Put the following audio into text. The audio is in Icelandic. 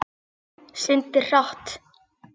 Syndir hratt.